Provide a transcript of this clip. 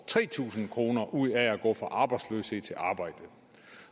tre tusind kroner ud af at gå fra arbejdsløshed